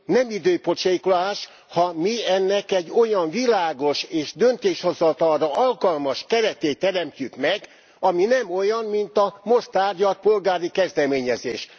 Nem időpocsékolás, ha mi ennek egy olyan világos és döntéshozatalra alkalmas keretét teremtjük meg, amely nem olyan, mint a most tárgyalt polgári kezdeményezés.